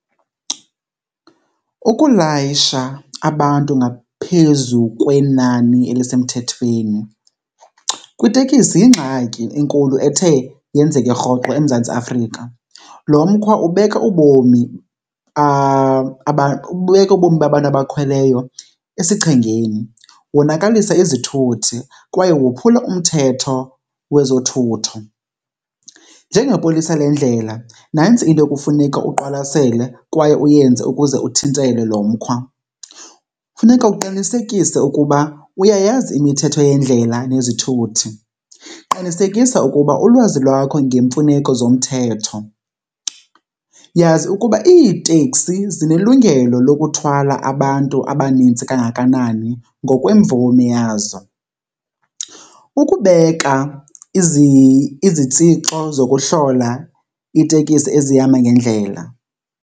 Ukulayisha abantu ngaphezu kwenani elisemthethweni kwitekisi yingxaki enkulu ethe yenzeke rhoqo eMzantsi Afrika. Lo mkhwa ubeka ubomi , ubeka ubomi babantu abakhweleyo esichengeni, wonakalisa izithuthi kwaye wophula umthetho wezothutho. Njengepolisa lendlela nantsi into ekufuneka uqwalasele kwaye uyenze ukuze uthintele lo mkhwa. Funeka uqinisekise ukuba uyayazi imithetho yendlela nezithuthi, qinisekisa ukuba ulwazi lwakho ngemfuneko zomthetho, yazi ukuba iiteksi zinelungelo lokuthwala abantu abaninzi kangakanani ngokwemvume yazo, ukubeka izitsixo zokuhlola iitekisi ezihamba ngendlela.